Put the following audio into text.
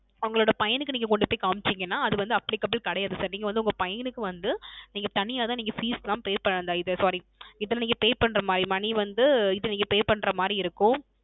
உங்களோட பையனுக்கு நீங்க கொண்டு போய் காமிச்சிங்கனா அது வந்து Applicable கிடையாது Sir நீங்கள் வந்து உங்கள் பையனுக்கு வந்து நீங்க தனியா தான் நீங்க Fees லாம் Pay பண்ணவே Sorry இதில நீங்க இது Pay பண்ற மாதிரி Money வந்து நீங்க Pay பண்ற மாறி இருக்கும்